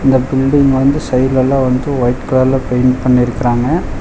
இந்த பில்டிங் வந்து சைடுலலா வந்து ஒயிட் கலர்ல பெயிண்ட் பண்ணிருக்குறாங்க.